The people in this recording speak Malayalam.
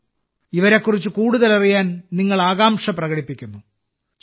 ഈ പത്മ അവാർഡ് ജേതാക്കളിൽ ഭൂരിഭാഗവും അവരവരുടെ മേഖലകളിൽ വളരെ അതുല്യമായ പ്രവർത്തനങ്ങൾ ചെയ്യുന്നു